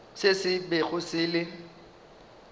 se se bego se le